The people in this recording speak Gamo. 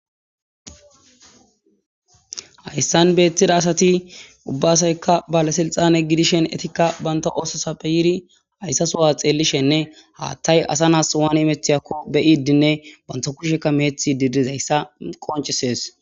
hayssan beettida asati ubbasaykka bala silxane gidishen etikka banta oososappe yiri hayssa sowa xeellishenne haathtay asa naas waani imeththiyakko beyidinne banto kushekka meethi didizayssa qoncesees